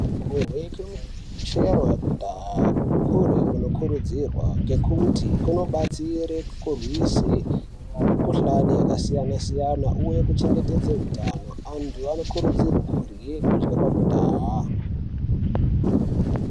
Kuryeke Chero yekudhaya kurye kunokurudzirwa nekuti kunobatsire kurwise khuhlani yakasiyana siyana Uye kuchengetedze hutano antu anokurudzirwe kurye kudye kwekudhaya.